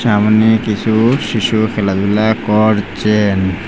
সামনে কিছু শিশু খেলাধুলা করছেন।